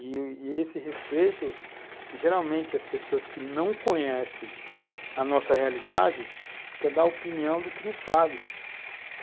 E, e esse respeito, geralmente, as pessoas que não conhecem a nossa realidade, quer dar opinião do que não sabe.